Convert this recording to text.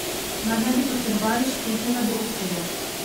Mar ne bi potrebovali športnega direktorja?